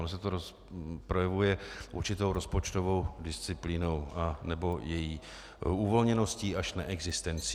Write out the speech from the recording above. Ono se to projevuje určitou rozpočtovou disciplínou anebo její uvolněností až neexistencí.